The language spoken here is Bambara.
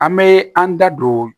An be an da don